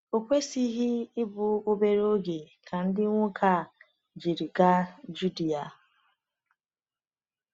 O kwesịghị ịbụ obere oge ka ndị nwoke a jiri gaa Judea.